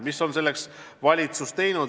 Mida on valitsus teinud?